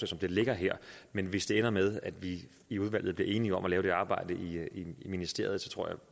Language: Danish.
som det ligger her men hvis det ender med at vi i udvalget bliver enige om at lave det arbejde i ministeriet tror jeg